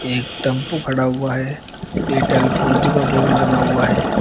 एक टेंपू खड़ा हुआ है एयरटेल फोर जी का बोर्ड लगा हुआ है।